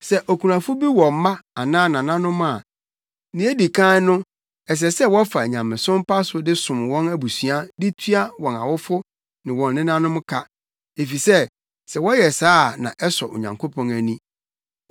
Sɛ okunafo bi wɔ mma anaa nananom a, nea edi kan no ɛsɛ sɛ wɔfa nyamesom pa so de som wɔn abusua de tua wɔn awofo ne wɔn nenanom ka, efisɛ sɛ wɔyɛ saa a na ɛsɔ Onyankopɔn ani.